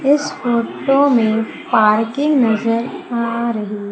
इस फोटो में पार्किंग नजर आ रही--